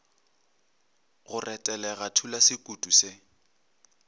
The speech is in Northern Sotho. go retelega thula sekutu se